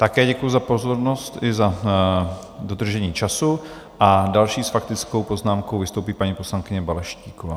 Také děkuji za pozornost i za dodržení času a další s faktickou poznámkou vystoupí paní poslankyně Balaštíková.